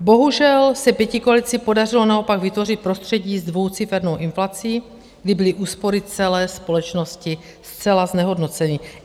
Bohužel se pětikoalici podařilo naopak vytvořit prostředí s dvoucifernou inflací, kdy byly úspory celé společnosti zcela znehodnoceny.